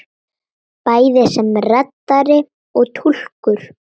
Bæði sem reddari og túlkur!